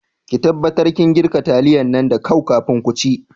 Ki taɓatar kin girka taliyan nan da kau kafin ku ci